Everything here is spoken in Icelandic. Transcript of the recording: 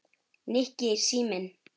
Nikki, síminn